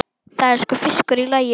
Það er sko fiskur í lagi.